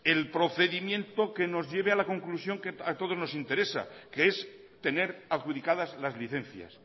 el procedimiento que nos lleve a la conclusión que a todos nos interesa que es tener adjudicadas las licencias